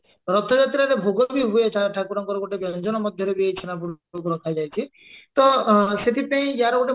ରଥଯାତ୍ରାରେ ଭୋଗ ବି ହୁଏ ଠା ଠାକୁରଙ୍କର ଗୋଟେ ବ୍ୟଞ୍ଜନରେ ମଧ୍ୟରେ ବି ଛେନାପୋଡକୁ ରଖାଯାଉଇଛି ତ ଅ ସେଥିପାଇଁ ଆର ଗୋଟେ